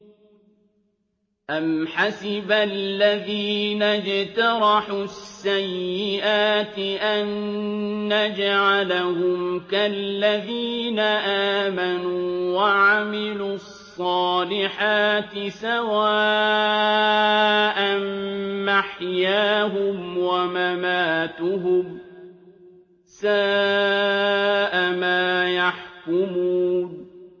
أَمْ حَسِبَ الَّذِينَ اجْتَرَحُوا السَّيِّئَاتِ أَن نَّجْعَلَهُمْ كَالَّذِينَ آمَنُوا وَعَمِلُوا الصَّالِحَاتِ سَوَاءً مَّحْيَاهُمْ وَمَمَاتُهُمْ ۚ سَاءَ مَا يَحْكُمُونَ